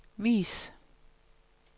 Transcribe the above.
vis